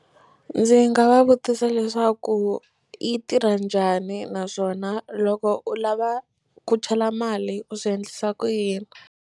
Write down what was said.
Ndzi nga va vutisa leswaku yi tirha njhani naswona loko u lava ku chela mali u swi endlisa ku yini.